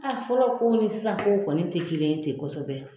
A fɔlɔ kow ni sisan kow kɔni tɛ kelen ye kosɛbɛ